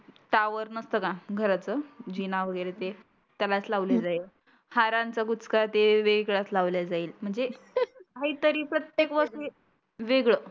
Tower नसतं का घराचं जीना वगैरे ते त्यालाच लावली जाईल. हारांचा बुचका ते वेगळाच लावल्या जाईल म्हणजे काही तरी प्रत्येक वर्षी वेगळ.